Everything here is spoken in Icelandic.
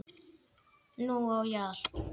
Nú á ég allt.